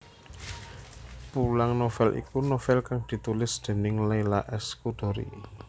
Pulang novel iku novel kang ditulis déning Leila S Chudori